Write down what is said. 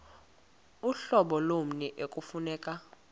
uhlobo lommi ekufuneka